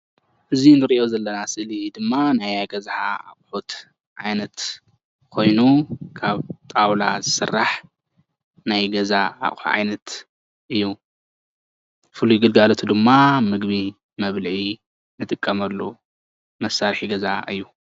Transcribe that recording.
እዚ እንሪኦ ዘለና ስእሊ ድማ ናይ ገዛ ኣቁሕት ዓይነት ኮይኑ ካብ ጣውላ ዝስራሕ ናይ ገዛ ኣቁሑ ዓይነት እዩ፡፡ ፍሉይ ግልጋለቱ ድማ ምግቢ መብልዒ ንጥቀመሉ መሳርሒ ገዛ እዩ፡፡